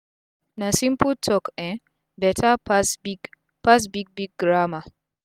na simple talk um beta pass big pass big big grammar